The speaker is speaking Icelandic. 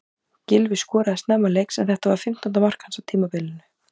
Gylfi skoraði snemma leiks en þetta var fimmtánda mark hans á tímabilinu.